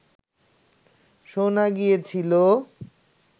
শোনা গিয়েছিল